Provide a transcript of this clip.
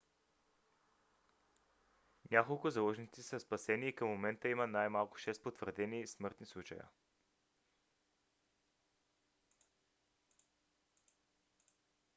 няколко заложници са спасени и към момента има най-малко шест потвърдени смъртни случая